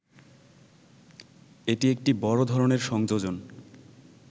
এটি একটি বড় ধরনের সংযোজন